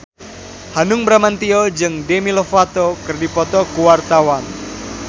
Hanung Bramantyo jeung Demi Lovato keur dipoto ku wartawan